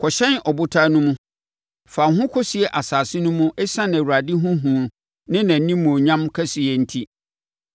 Kɔhyɛne abotan no mu, fa wo ho kɔsie asase no mu ɛsiane Awurade ho hu ne nʼanimuonyam kɛseyɛ nti!